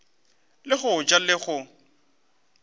le go ja le go